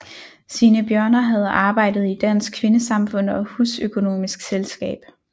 Signe Bjørner havde arbejdet i Dansk Kvindesamfund og Husøkonomisk selskab